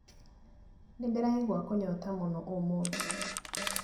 Nĩndĩraigua kũnyota mũno ũmũthĩ